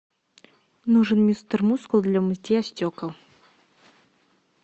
нужен мистер мускул для мытья стекол